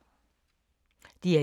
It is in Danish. DR1